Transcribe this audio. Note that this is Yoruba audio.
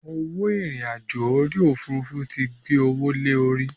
Owó irin àjò orí Òfurufú tí gbé owó lè orí.